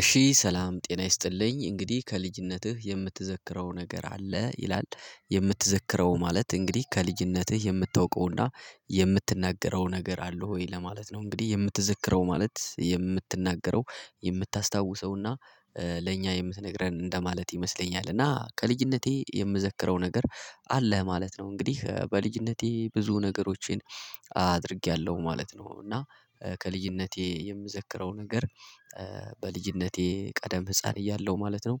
እሺ ሰላም ጤና ይስጥልኝ እንግዲህ ከልጅነትህ የምትዘክረው ነገር አለ ይላል የምትዘክረው ማለት እንግዲህ ከልጅነትህ የምታውቀውና የምትናገረው ነገር አለህ ወይ ለማለት ነው? እንግዲህ የምትዘክረው ማለት የምትናገረው የምታስታውሰውና ለእኛ የምትነግረን እንደማለት ይመስለኛል። እና ከልጅነቴ የምዘክረው ነገር አለ ማለት ነው። እንግዲህ በልጅነቴ ብዙ ነገሮቼን አድርጌያለሁ ማለት ነው። እና ከልጅነቴ የምዘክረው ነገር በልጅነቴ ቀደም ህፃን እያለሁ ማለት ነው።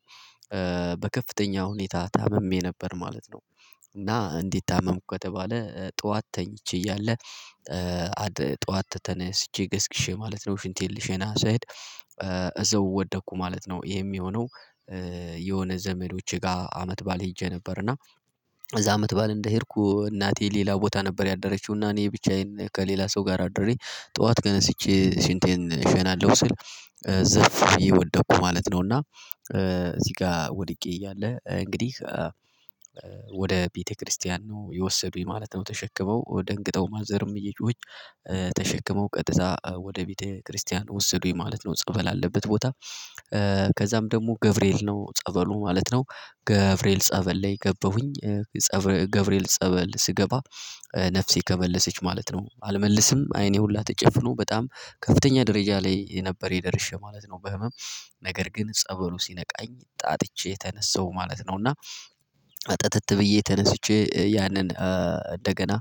በከፍተኛ ሁኔታ ታምሜ ነበር ማለት ነው። እና እንዴት ታመምክ ከተባለ ጠዋት ተኝቼ እያለ ጠዋት ተነስቼ ገስግሼ ማለት ነው ሽንቴን ልሸና ስሄድ እዛው ወደኩ ማለት ነው። ይሄም የሆነው የሆነ ዘመዶቼ ጋር አመት ባል ሄጄ ነበር። እና እዛ አመት ባል እንደሄድኩ እናቴ ሌላ ቦታ ነበር ያደረችው እና እኔ ብቻዬን ከሌላ ሰው ጋር አድሬ ጠዋት ተነስቼ ሽንቴን እሸናለሁ ስል ዘፍ ወደቁ ማለት ነው። እና እዚህ ጋር ወድቄ እያለ እንግዲህ ወደ ቤተክርስቲያን ነው የወሰዱኝ ማለት ነው። ተሸክመው ደንግጠው ማዘርም እየጮሕች ተሸክመው ቀጥታ ወደ ቤተክርስቲያን ወሰዱኝ ማለት ነው። ጸበል አለበት ቦታ ከዛም ደግሞ ገብርኤል ነው ጸበሉ ማለት ነው ገብርኤል ጸበል ላይ ገባሁኝ። ገብርኤል ጸበል ስገባ ነፍሴ ተመለሰች ማለት ነው። አልመልስም አይኔ ሁላ ተጨፍኖ በጣም ከፍተኛ ደረጃ ላይ የነበረ የደረሸ ማለት ነው። በህመም ነገር ግን ጸበሉ ሲነቃኝ ጣጥቼ ተነስተው ማለት ነው። እና ጥትት ብዬ ተነስቼ ያንን እንደገና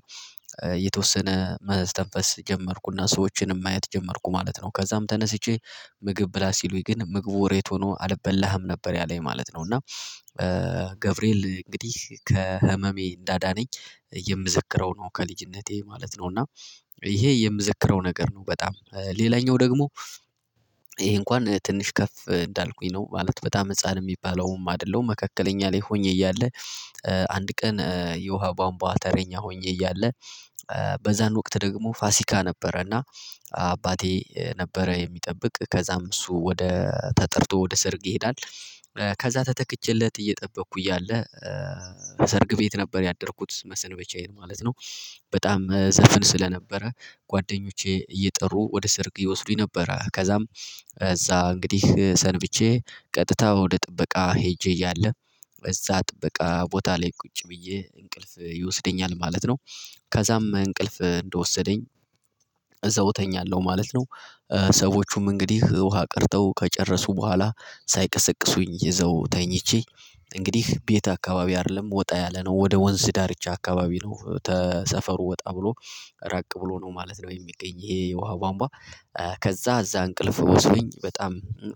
የተወሰነ መዘዝ ተንፈስ ጀመርኩና ሰዎችንም ማየት ጀመርኩ ማለት ነው። ከዛም ተነስቼ ምግብ ብላ ሲሉኝ ግን ምግቡ ሬት ሆኖ አልበላህም ነበር ያለኝ ማለት ነው። እና ገብርኤል እንግዲህ ከህመሜ እንዳዳነኝ የምዘክረው ነው ከልጅነቴ ማለት ነው። እና ይሄ የምዘክረው ነገር ነው። በጣም ሌላኛው ደግሞ ይሄ እንኳን ትንሽ ከፍ እንዳልኩኝ ነው ማለት በጣም ህፃን የሚባለውም አይደለም መካከለኛ ላይ ሆኜ እያለ። አንድ ቀን የውሃ ቧምቧ ተረኛ ሆኜ እያለ በዛን ወቅት ደግሞ ፋሲካ ነበረና አባቴ ነበረ የሚጠብቅ ከዛም እሱ ወደ ተጠርቶ ወደ ሰርግ ይሄዳል ከዛ ተተክቼለት እየጠበቅኩ እያለ ሰርግ ቤት ነበር ያደረኩት መሰንበቻዬን ማለት ነው። በጣም ዘፍን ስለነበረ ጓደኞቼ እየጠሩ ወደ ስርግ ይወስዱኝ ነበረ። ከዛም እዛ እንግዲህ ሰርግቼ ቀጥታ ወደ ጥበቃ ሄጄ እያለ እዛ ጥበቃ ቦታ ላይ ቁጭ ብዬ እንቅልፍ ይወስደኛል ማለት ነው። ከዛም እንቅልፍ እንደወሰደኝ እዛው እተኛለሁ ማለት ነው። ሰዎቹም እንግዲህ ውሃ ቀድተው ከጨረሱ በኋላ ሳይቀሰቅሱኝ ይዘው ተኝቼ እንግዲህ ቤት አካባቢ አይደለም ወጣ ያለ ነው ወደ ወንዝ ዳርቻ አካባቢ ነው ተሰፈሩ ወጣ ብሎ ረቅ ብሎ ነው ማለት ነው። የሚገኝ ይሄ የውሃ ቧንቧ ከዛ እዛ እንቅልፍ ወስዶኝ በጣም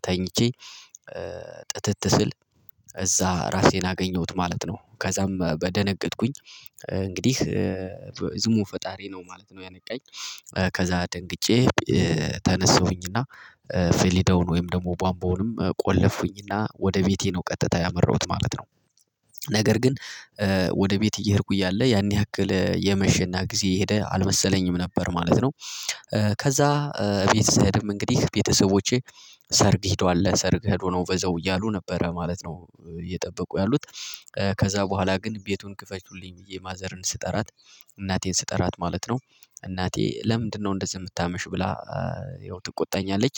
ተኝቼ ጥትት ስል እዛ ራሴን አገኘሁት ማለት ነው። ከዛም በደነገጥኩኝ እንግዲህ ዝሙ ፈጣሪ ነው ማለት ነው። ያነቃኝ ከዛ ደንግጬ ተነስሁኝ እና ፌሌዳውን ወይም ደግሞ ቧንቧንም ቆለፍኩኝና ወደ ቤቴ ነው ቀጥታ ያመራሁት ማለት ነው። ነገር ግን ወደ ቤት እየሄድኩ እያለ ያን ያክል የመሸና ጊዜ የሄደ አልመሰለኝም ነበር ማለት ነው። ከዛ ቤተሰብም እንግዲህ ቤተሰቦቼ ሰርግ ሄደዋል ለሰርግ ሄዱ ነው በዛው እያሉ ነበረ ማለት ነው። እየጠበቁ ያሉት ከዛ በኋላ ግን ቤቱን ክፈቱልኝ ብዬ ማዘርን ስጠራት እናቴን ስጠራት ማለት ነው። እናቴ ለምንድነው እንደዚህ የምታመሽ ብላ ይኸው ትቆጣኛለች።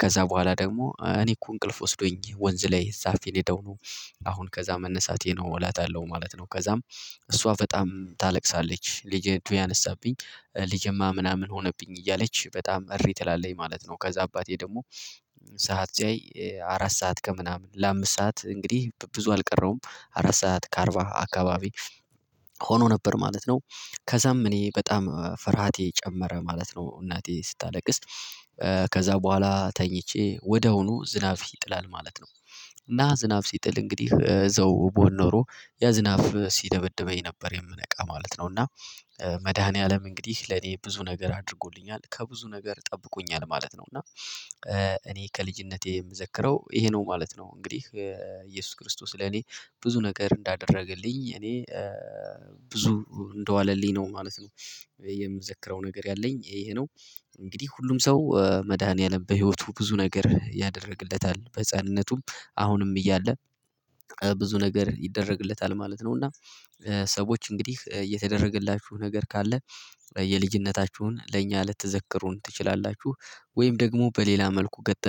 ከዛ በኋላ ደግሞ እኔ እኮ እንቅልፍ ወስዶኝ ወንዝ ላይ ዛፍ የሄደው ነው። አሁን ከዛ መነሳቴ ነው እላታለው ማለት ነው። ከዛም እሷ በጣም ታለቅሳለች ልጄ ያነሳብኝ ልጄማ ምናምን ሆነብኝ እያለች በጣም እሪ ትላለኝ ማለት ነው። ከዛ አባቴ ደግሞ ሰዓት ሲያይ አራት ሰዓት ከምናምን ለአምስት ሰዓት እንግዲህ ብዙ አልቀረውም አራት ሰዓት ከአርባ አካባቢ ሆኖ ነበር ማለት ነው። ከዛም እኔ በጣም ፍርሃቴ ጨመረ ማለት ነው። እናቴ ስታለቅስ ከዛ በኋላ ተኝቼ ወድያውኑ ዝናብ ይጥላል ማለት ነው። ና ዝናብ ሲጥል እንግዲህ እዛው ብሆን ኖሮ ያ ዝናብ ሲደበድበኝ ነበር የምነቃ ማለት ነው። እና መድኃኒዓለም እንግዲህ ለኔ ብዙ ነገር አድርጎልኛል ከብዙ ነገር ጠብቆኛል ማለት ነው። እና እኔ ከልጅነቴ የምዘክረው ይሄ ነው ማለት ነው። እንግዲህ ኢየሱስ ክርስቶስ ለኔ ብዙ ነገር እንዳደረገልኝ እኔ ብዙ እንደዋለልኝ ነው ማለት ነው። የምዘክረው ነገር ያለኝ ይሄ ነው። እንግዲህ ሁሉም ሰው መድኃኒዓለም በህይወቱ ብዙ ነገር ያደርግለታል በህፃንነቱም አሁንም እያለ ብዙ ነገር ይደረግለታል ማለት ነው። እና ሰዎች እንግዲህ የተደረገላችሁ ነገር ካለ የልጅነታችሁን ለእኛ ልትዘከሩን ትችላላችሁ? ወይም ደግሞ በሌላ መልኩ ገጠመኝ